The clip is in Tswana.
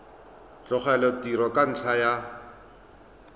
tlogela tiro ka ntlha ya